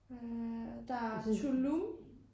Øh der er Tulum